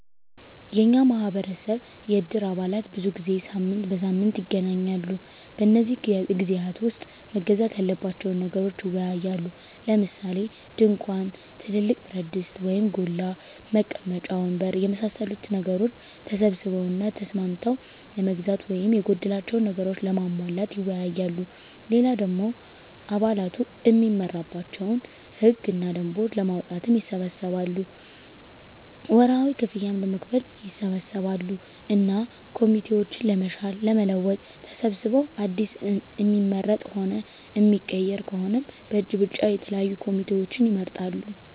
የኛ ማህበረሰብ የእድር አባላት ብዙ ጊዜ ሳምንት በሳምንት ይገናኛሉ። በነዚህ ግዜያት ዉስጥ መገዛት ያለባቸዉን ነገሮች ይወያያሉ። ለምሳሌ፦ ድንኳን፣ ትልቅ ብረትድስት (ጎላ) ፣ መቀመጫ ወንበር የመሳሰሉትን ነገሮች ተሰብስበዉ እና ተስማምተዉ ለመግዛት ወይም የጎደላቸዉን ነገሮች ለማሟላት ይወያያሉ። ሌላ ደሞ አባላቱ እሚመራባቸዉን ህግ እና ደንቦች ለማዉጣትም ይሰበሰባሉ፣ ወርሀዊ ክፍያም ለመክፈል ይሰበሰባሉ እና ኮሚቴዎችን ለመሻር ለመለወጥ ተሰብስበዉ አዲስ እሚመረጥም ሆነ እሚቀየር ከሆነም በእጅ ብልጫ የተለያዩ ኮሚቴዎችን ይመርጣሉ።